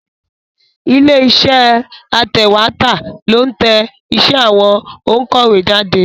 Ilé iṣẹ́ atẹ̀wétà ló ń tẹ iṣẹ́ àwọn òǹkọ̀wé jáde.